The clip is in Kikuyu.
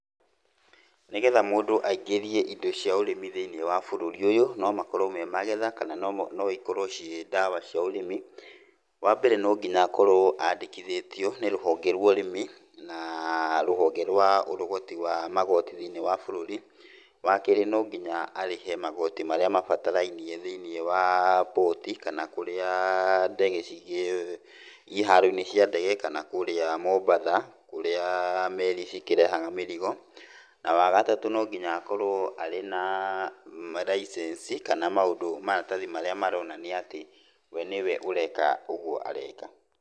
Nĩgetha mũndũ aingĩrie indo cia ũrĩmi thĩinĩ bũrũri ũyũ, no makorwo me magetha kana no ikorwo ciĩ ndawa cia ũrĩmi. Wa mbere no nginya akorwo andĩkithĩtio nĩ rũhonge rwa ũrĩmi na rũhonge rwa ũrogoti wa magoti thĩiniĩ wa bũrũri. Wa kerĩ no nginya arĩhe magoti marĩa mabatarainie thĩiniĩ wa boat kana kũrĩa ndege, iharo-inĩ cia ndege, kana kũrĩa Mombatha, kũrĩa meri cikĩrehaga mĩrigo. Na wa gatatũ no nginya akorwo arĩ na malincense, kana maũndũ, maratathi marĩa maraonania atĩ we nĩ we ũreeka ũguo areeka.